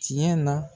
Tiɲɛ na